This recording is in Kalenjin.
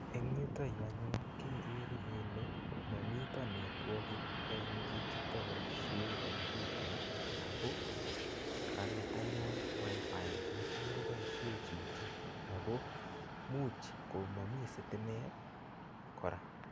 Eng yuto yu anyun kegere kele momito network eng chichito boisie kompiutait ago konget anyun wifi necham koboisie chichi ago much komami sitimet kora.